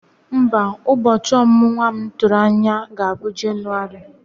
Mba, ụbọchị omumu nwa m tụrụ anya ga-abụ na Jenụwarị.